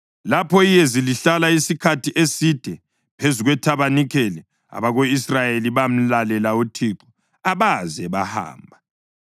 Lapho iyezi lihlala isikhathi eside phezu kwethabanikeli, abako-Israyeli bamlalela uThixo abaze bahamba.